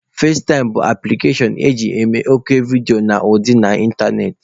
Fazetaịm bụ apụlikashon eji eme oku vidiyo na ọdịọ na ịntanetị.